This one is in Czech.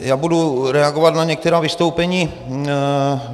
Já budu reagovat na některá vystoupení.